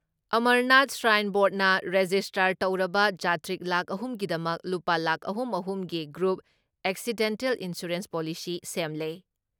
Amarnath shrine ꯕꯣꯔꯠꯅ register ꯇꯧꯔꯕ ꯖꯥꯇ꯭ꯔꯤꯛ ꯂꯥꯈ ꯑꯍꯨꯝ ꯒꯤꯗꯃꯛ ꯂꯨꯄꯥ ꯂꯥꯈ ꯑꯍꯨꯝ ꯑꯍꯨꯝꯒꯤ ꯒ꯭ꯔꯨꯞ ꯑꯦꯛꯁꯤꯗꯦꯟꯇꯦꯜ ꯏꯟꯁꯨꯔꯦꯟꯁ ꯄꯣꯂꯤꯁꯤ ꯁꯦꯝꯂꯦ ꯫